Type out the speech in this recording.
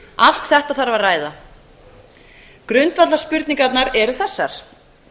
allt þetta þarf að ræða grundvallarspurningarnar eru þessar